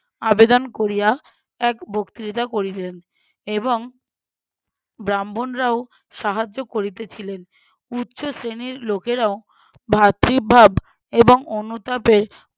আবেদন করিয়া এক বক্তৃতা করিলেন এবং ব্রাহ্মণরাও সাহায্য করিতেছিলেন। উচ্চশ্রেণীর লোকেরাও ভাতৃভাব এবং অনুতাপের